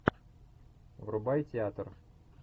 врубай театр